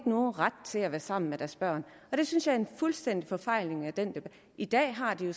nogen ret til at være sammen med deres børn og det synes jeg er et fuldstændig forfejlet argument i den debat i dag har de jo